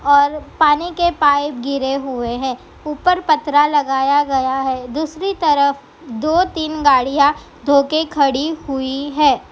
और पानी के पाइप गिरे हुए हैं ऊपर पतरा लगाया गया है दूसरी तरफ दो-तीन गाड़ियां धो के खड़ी हुई हैं।